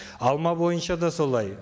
алма бойынша да солай